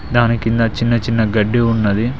దాని కింద చిన్న చిన్న గడ్డి ఉన్నది.